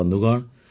ବନ୍ଧୁଗଣ